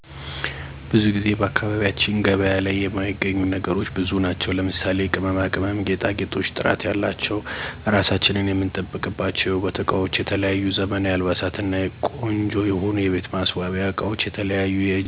ብዙ ጊዜ በአካባቢያችን ገበያ ላይ የማይገኙ ነገሮች ብዙ ናቸው ለምሳሌ:- ቅመማ ቅመም፣ ጌጣጌጦች፣ ጥራት ያላቸው ራሳችን የምንጠብቅባችው የውበት እቃወች፣ የተለያዩ ዘመናዊ አልባሳት እና ቆንጆ የሆኑ የቤት ማሰዋሲያ አቃወች የተለያዩ የእጀ ሰራወች ለማግኘት በጣም ከባድ ነው። የተለያዩ ቦታዋች እንጠይቃለን የተለያዩ ማህበራዊ ድረገጽ መረጃ እንፍልጋለን እንዲሁም ሌላ ቦታ ካለ ጠይቀን እንዲያመጡልን ማድረግ አለብን።